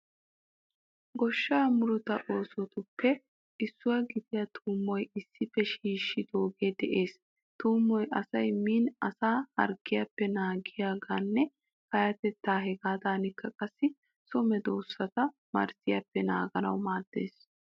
Goshshaa murutaa oosotuppe issuwa gidiyaa tuummoy issippe shiishshidoogee de'ees. Tuummoy asay miin asaa harggiyappe naagiyogaaninne pattiyogan hegaadankka qassi so medoosata marzziyaappe naaganawu maaddees.